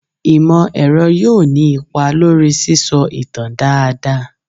Imọ-ẹrọ yoo ni ipa lori sisọ itan daadaa